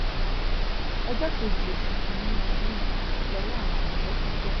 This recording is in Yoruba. ọjọ́ kejì oṣù kìn-ín-ní ọdún yìí lowó àwọn àmọ̀tẹ́kùn tẹ̀ wọ́n